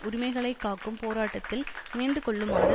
உரிமைகளை காக்கும் போராட்டத்தில் இணைந்துகொள்ளுமாறு